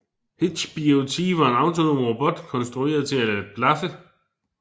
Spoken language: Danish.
hitchBOT var en autonom robot konstrueret til at blaffe